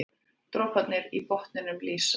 Droparnir í botninum lýsa.